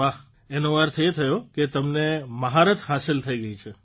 વાહ એનો અર્થ એ થયો કે તમને મહારથ હાંસલ થઇ ગઇ છે